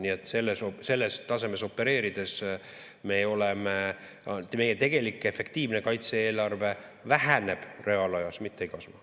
Nii et selles tasemes opereerides meie tegelik, efektiivne kaitse-eelarve väheneb reaalajas, mitte ei kasva.